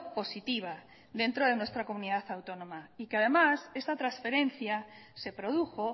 positiva dentro de nuestra comunidad autónoma y que además esta transferencia se produjo